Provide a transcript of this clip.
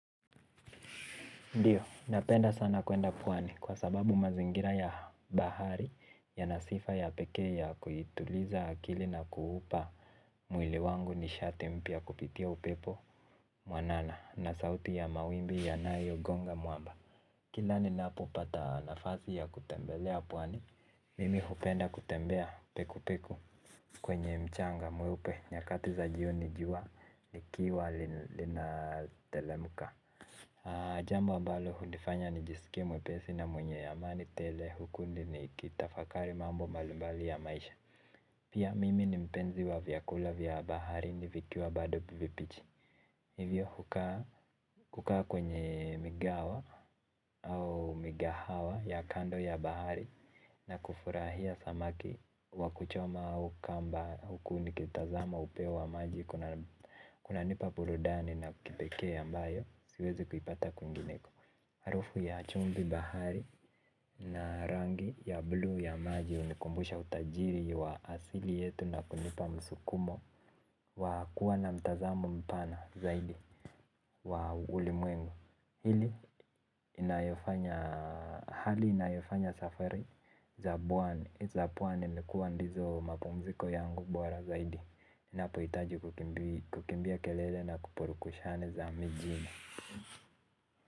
Ndiyo, napenda sana kuenda pwani kwa sababu mazingira ya bahari yana sifa ya pekee ya kuituliza akili na kuupa mwili wangu nishati mpya ya kupitia upepo mwanana na sauti ya mawimbi yanayo gonga mwamba. Kila ninapo pata nafasi ya kutembelea pwani, mimi hupenda kutembea peku peku kwenye mchanga mweupe nyakati za jioni ijua likiwa lina teremka. Jambo ambalo hunifanya nijisikie mwepesi na mwenye amani tele huku nikitafakari mambo mbalimbali ya maisha. Pia mimi ni mpenzi wa vyakula vya baharini vikiwa bado vibichi. Hivyo hukaa kwenye migahawa au migahawa ya kando ya bahari na kufurahia samaki wakuchoma au kamba huku nikitazama upeo wa maji kunanipa burudani ya kipekee ambayo siwezi kuipata kwingineko harufu ya chumvi bahari na rangi ya bluu ya maji hunikumbusha utajiri wa asili yetu na kunipa msukumo wa kuwa na mtazamo mpana zaidi wa ulimwengu. Hili inayofanya, hali inayofanya safari za pwani likuwa ndizo mapumziko yangu bora zaidi. Inapohitaji kukimbia kelele na kupurukushani za mjini.